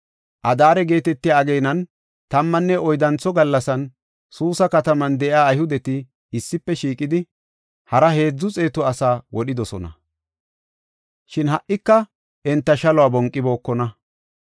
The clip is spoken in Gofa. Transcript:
Adaare geetetiya ageenan tammanne oyddantho gallasan, Suusa kataman de7iya Ayhudeti issife shiiqidi, hara heedzu xeetu asaa wodhidosona; shin ha77ika enta shaluwa bonqibookona.